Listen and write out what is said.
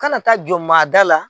Kana taa jɔ maa da la.